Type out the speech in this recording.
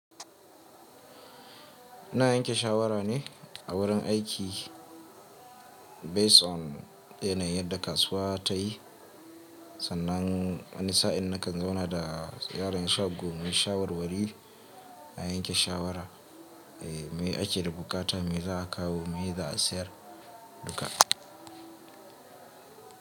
Ina yanke shawara ne a wurin aiki based on yanayin yadda kasuwa ta yi. Sannan wani sa'in na kan zauna da yaron shagon mai shawarwari na yanke shawara me ake da bukata me za a kawo me za a sayar duka.